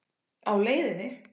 Á leiðinni?